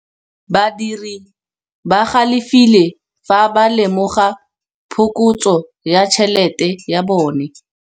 Badiri ba galefile fa ba lemoga phokotsô ya tšhelête ya bone.